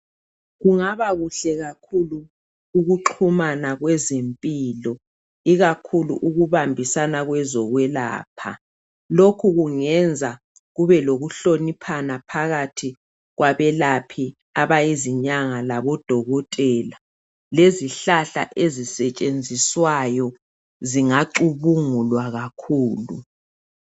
Kungaba kuhle kakhulu ukuxhumana kwezimpilo ikakhulu ukubambisana kwezo kwelapha, lokhu kungenza kube lokuhloniphana phakathi kwabelaphi abayizinyanga labo dokotela lezihlahla ezisetshenziswayo zingacubungulwa kakhulu.